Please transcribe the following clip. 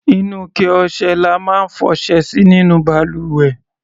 Inú ike ọṣẹ la máa ń fọṣẹ sí nínú balùwẹ̀.